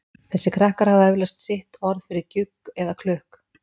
Þessir krakkar hafa eflaust sitt orð yfir gjugg eða klukk.